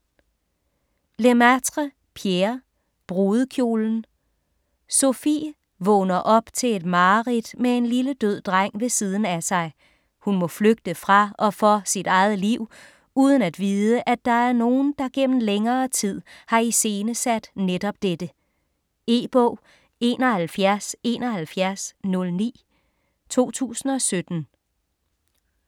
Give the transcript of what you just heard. Lemaitre, Pierre: Brudekjolen Sophie vågner op til et mareridt med en lille død dreng ved siden af sig; hun må flygte fra - og for - sit eget liv, uden at vide at der er nogen der gennem længere tid har iscenesat netop dette. E-bog 717109 2017.